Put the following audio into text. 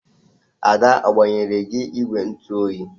Ada ọ gbanyere gị ìgwè ntụoyi?